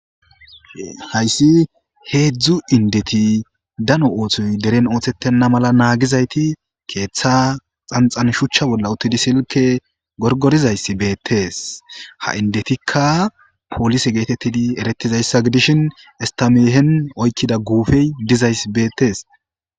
Hayssi heedzdzu indeti dano oothoy deren oothettenna mala naagizayti keeththa xanxan shuchcha bolla uttidi silke gorgorizayssi beettes ha indetikka poolise geetettidi eretizayssa gidishin istameehen oykkida guufey dizayss beettes